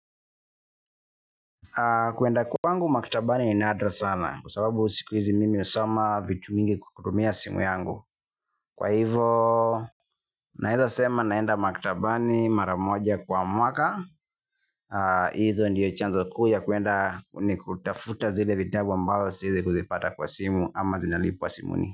Kwenda kwangu maktabani ni nadra sana kwa sababu siku hizi mimi nasoma vitu mingi kwa kutumia simu yangu. Kwa hivyo. Naweza sema naenda maktabani mara moja kwa mwaka. Hizo ndiyo chanzo kuu cha kwenda ni kutafuta zile vitabu ambavyo siwezi kuvipata kwa simu ama zinalipiwa simuni.